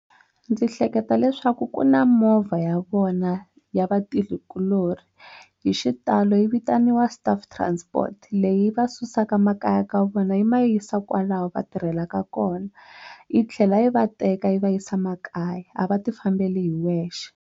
Ndzi hleketa leswaku ku na movha ya vona ya vatirhikuloni hi xitalo yi vitaniwa staff transport leyi va susaka makaya ka vona yi ma yisa kwalaho va tirhelaka kona yi tlhela yi va teka yi va yisa makaya a va ti fambela hi wexe.